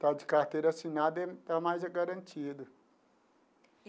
Está de carteira assinada e está mais garantido.